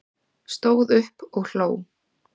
Stóð upp og hló